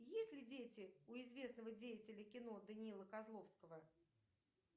есть ли дети у известного деятеля кино даниила козловского